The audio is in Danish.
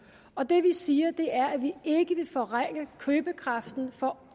og det vi siger er at vi ikke vil forringe købekraften for